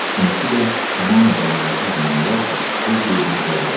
İkincisi də tam mübaliğəsiz demək olar ki, öz qeydinə qalmırdı.